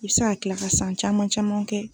I bi se ka kila ka san caman caman kɛ